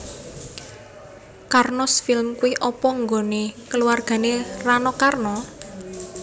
Karnos Film kui opo nggone keluargane Rano Karno?